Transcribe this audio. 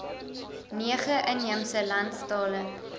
nege inheemse landstale